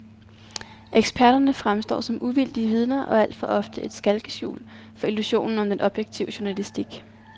Eksperterne fremstår som uvildige vidner og er alt for ofte et skalkeskjul for illusionen om den objektive journalistik.